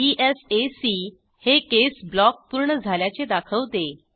इसॅक हे केस ब्लॉक पूर्ण झाल्याचे दाखवते